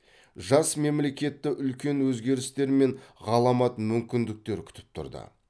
жас мемлекетті үлкен өзгерістер мен ғаламат мүкіндіктер күтіп тұрды